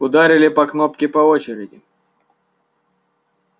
ударили по кнопке по очереди